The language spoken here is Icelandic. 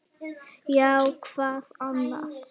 Já, hvað annað?